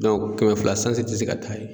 kɛmɛ fila sanzi tɛ se ka taa ye.